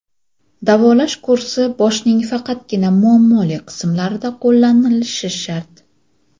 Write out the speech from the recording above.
Davolash kursi boshning faqatgina muammoli qismlarida qo‘llanilishi shart.